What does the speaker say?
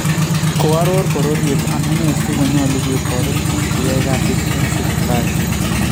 Koaroor bororyeet amunei si konyolu ketoret pik cheyae kasit en Sipitali